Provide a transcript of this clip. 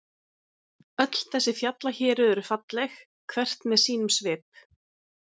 Öll þessi fjallahéruð eru falleg, hvert með sínum svip.